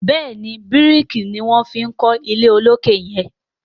béèni biriki ní wón fí kò ilé olokè yen.